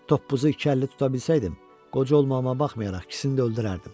Toppuzu iki əlli tuta bilsəydim, qoca olmağıma baxmayaraq ikisini də öldürərdim.